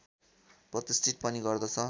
प्रतिष्ठित पनि गर्दछ